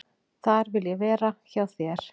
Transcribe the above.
"""Þar vil ég vera, hjá þér."""